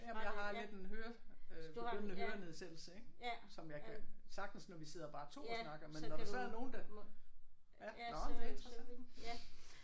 Jamen jeg har lidt en høre øh begyndende hørenedsættelse ik som jeg kan sagtens når vi sidder bare to og snakker men når der så er nogen der ja nåh men det er interessant